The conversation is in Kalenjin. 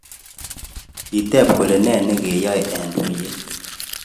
Kiteb kole ne nekiyaak eng tuyet.